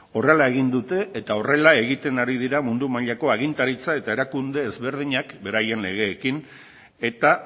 horrela egin dute eta horrela ari dira mundu mailako agintaritza eta erakunde ezberdinak beraien legeekin eta